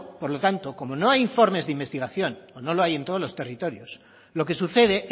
por lo tanto como no hay informes de investigación o no los hay en todos los territorios lo que sucede